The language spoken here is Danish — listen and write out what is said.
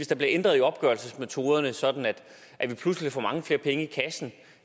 der bliver ændret i opgørelsesmetoderne sådan at vi pludselig får mange flere penge i kassen